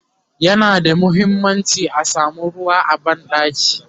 yana da muhimmanci a samu ruwa a banɗaki